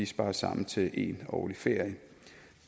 spares sammen til en årlig ferie